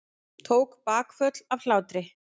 Tók bakföll af hlátri.